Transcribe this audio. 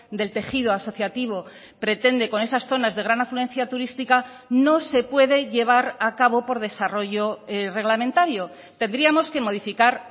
del tejido asociativo pretende con esas zonas de gran afluencia turística no se puede llevar a cabo por desarrollo reglamentario tendríamos que modificar